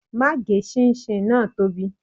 Má gé ṣinṣin náà tóbi.